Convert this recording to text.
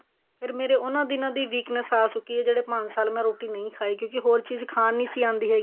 ਫੇਰ ਮੇਰੇ ਉਹਨਾ ਦਿਨਾ ਦੀ weakness ਆ ਚੁੱਕੀ ਹੈ ਜਿਹੜੇ ਪੰਜ ਸਾਲ ਮੈਂ ਰੋਟੀ ਨਹੀਂ ਖਾਈ ਕਿਉਂਕਿ ਹੋਰ ਚੀਜ਼ ਖਾਣ ਨਹੀਂ ਆਉਂਦੀ ਸੀਗੀ